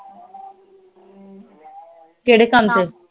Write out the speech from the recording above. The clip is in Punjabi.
ਕਿਹੜੇ ਕੰਮ ਤੇ